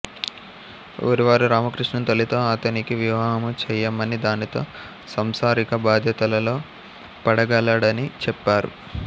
ఊరివారు రామకృష్ణుని తల్లితో ఆతనికి వివాహము చెయ్యమని దానితో సంసారిక బాధ్యతలలో పడగలడని చెప్పారు